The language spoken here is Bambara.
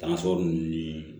Tansɔn ninnu ni